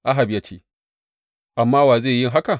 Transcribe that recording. Ahab ya ce, Amma wa zai yi haka?